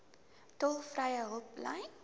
tolvrye hulplyn